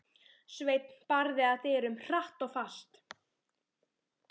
Sveinn barði að dyrum, hratt og fast.